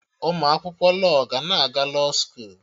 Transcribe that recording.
Ụmụ akwụkwọ lọọ ga na-aga lọọ skoolu